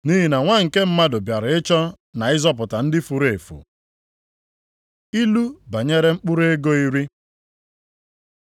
Nʼihi na Nwa nke Mmadụ bịara ịchọ na ịzọpụta ndị furu efu.” Ilu banyere mkpụrụ ego iri